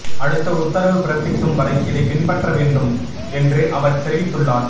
அடுத்த உத்தரவு பிறப்பிக்கும் வரை இதை பின்பற்ற வேண்டும் என்று அவர் தெரிவித்துள்ளார்